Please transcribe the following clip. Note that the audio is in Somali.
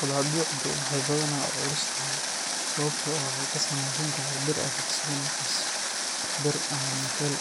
Qadaadiicdu waxay badanaa u culustahay sababtoo ah waxay ka samaysan tahay bir adag sida naxaas, bir, ama nikkel,